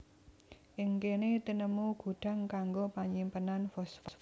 Ing kéné tinemu gudhang kanggo panyimpenan fosfat